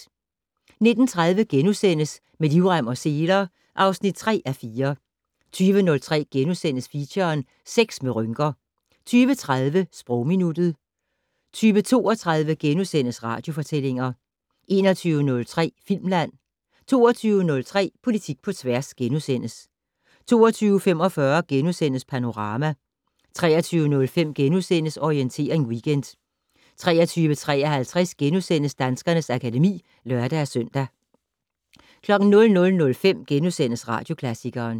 19:30: Med livrem og seler (3:4)* 20:03: Feature: Sex med rynker * 20:30: Sprogminuttet 20:32: Radiofortællinger * 21:03: Filmland * 22:03: Politik på tværs * 22:45: Panorama * 23:05: Orientering Weekend * 23:53: Danskernes akademi *(lør-søn) 00:05: Radioklassikeren *